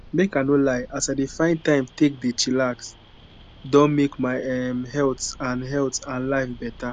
make i no lie as i dey find time take dey chillax don make my um health and health and life beta.